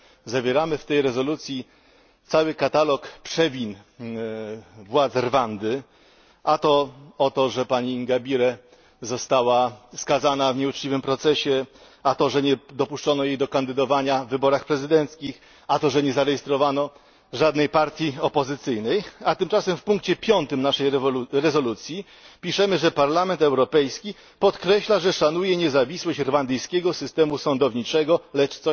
Zawieramy w tej rezolucji cały katalog przewin władz Rwandy a to że pani Ingabire została skazana w nieuczciwym procesie, a to że nie dopuszczono jej do kandydowania w wyborach prezydenckich, a to że nie zarejestrowano żadnych partii opozycyjnych, a tymczasem w punkcie 5 naszej rezolucji piszemy, że Parlament Europejski podkreśla, że szanuje niezawisłość rwandyjskiego systemu sądowniczego, lecz